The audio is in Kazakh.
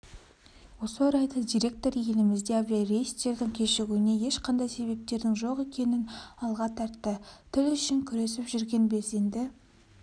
осы орайда директор елімізде авиарейстердің кешігуіне ешқандай себептердің жоқ екенін алға тартты тілүшін күресіп жүрген белсенді